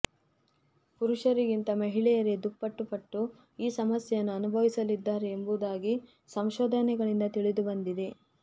ಪುರುಷರಿಗಿಂತ ಮಹಿಳೆಯರೇ ದುಪ್ಪಟ್ಟು ಪಟ್ಟು ಈ ಸಮಸ್ಯೆಯನ್ನು ಅನುಭವಿಸಲಿದ್ದಾರೆ ಎಂಬುದಾಗಿ ಸಂಶೋಧನೆಗಳಿಂದ ತಿಳಿದು ಬಂದಿದೆ